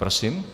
Prosím?